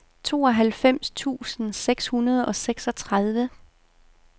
tooghalvfems tusind seks hundrede og seksogtredive